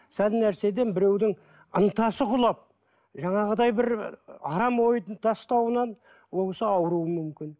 сәл нәрседен біреудің ынтасы құлап жаңағыдай бір арам ойды тастауынан ол кісі ауруы мүмкін